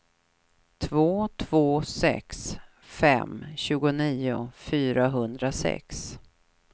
två två sex fem tjugonio fyrahundrasex